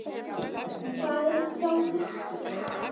En hvað er að hjá Fylki?